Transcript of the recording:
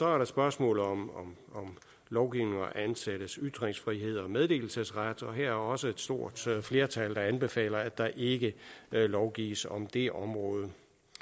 er der spørgsmålet om lovgivning om ansattes ytringsfrihed og meddelelsesret og her er der også et stort flertal der anbefaler at der ikke lovgives om det område